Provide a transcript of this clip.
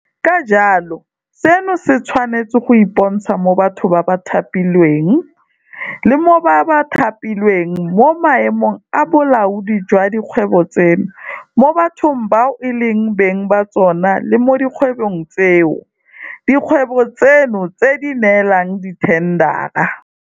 Ka jalo seno se tshwanetse go ipontsha mo bathong ba ba thapilweng le mo ba ba thapilweng mo maemong a bolaodi jwa dikgwebo tseno, mo bathong bao e leng beng ba tsona le mo dikgwebong tseo dikgwebo tseno di di neelang dithendara.